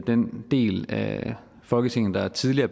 den del af folketinget der tidligere